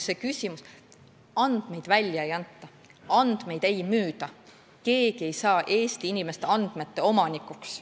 Andmeid välja ei anta, andmeid ei müüda, keegi ei saa Eesti inimeste andmete omanikuks.